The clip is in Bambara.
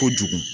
Kojugu